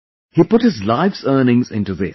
He put his life's earnings into this